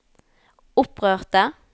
opprørte